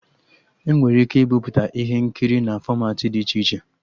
Enwere ike ibiputa ihe nkiri na fọmatị dị iche iche